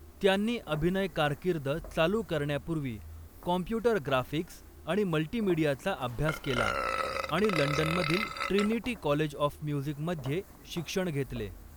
त्यांनी अभिनय कारकीर्द चालू करण्यापूर्वी कॉम्प्युटर ग्राफिक्स आणि मल्टिमिडियाचा अभ्यास केला आणि लंडनमधील ट्रिनिटी कॉलेज ऑफ म्युझिकमध्ये शिक्षण घेतले.